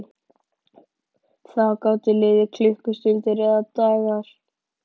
Það gátu liðið klukkustundir eða dagar.